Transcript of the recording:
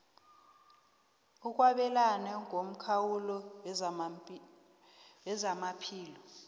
ukwabelana ngomkhawulo wezamaphilo